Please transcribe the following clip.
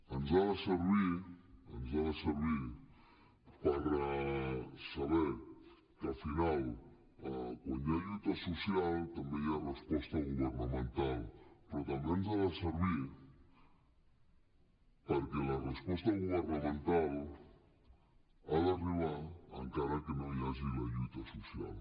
ens ha de servir per saber que al final quan hi ha lluita social també hi ha resposta governamental però també ens ha de servir perquè la resposta governamental ha d’arribar encara que no hi hagi la lluita social